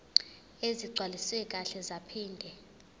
ezigcwaliswe kahle zaphinde